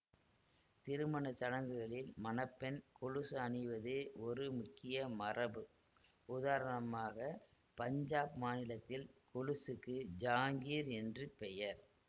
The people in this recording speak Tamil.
திருமணச்சடங்குகளில் மண பெண் கொலுசு அணிவது ஒரு முக்கிய மரபு உதாரணமாக பஞ்சாப் மாநிலத்தில் கொலுசுக்கு ஜாங்கீர் என்று பெயர்